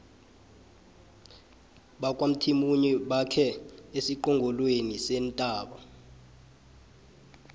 bakwamthimunye bakhe esiqongolweni sentaba